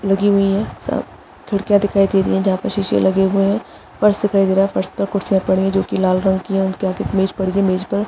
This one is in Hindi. लगी हुई है सब खिड़कियां दिखाई दे रही हैजहाँ पर शीशे लगे हुए है फर्श दिखाई दे रहा है फर्श पर कुछ जो की लाल कलर की है उसके आगे मेज पड़ी है मेज पर--